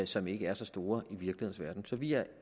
som ikke er så store i virkelighedens verden så vi er